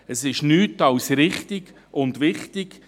Das ist nichts als richtig und wichtig.